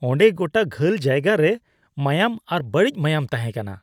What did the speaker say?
ᱚᱸᱰᱮ ᱜᱚᱴᱟ ᱜᱷᱟᱹᱞ ᱡᱟᱭᱜᱟ ᱨᱮ ᱢᱟᱭᱟᱢ ᱟᱨ ᱵᱟᱹᱲᱤᱡ ᱢᱟᱭᱟᱢ ᱛᱟᱦᱮᱸᱠᱟᱱᱟ ᱾